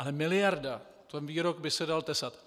Ale miliarda - ten výrok by se dal tesat.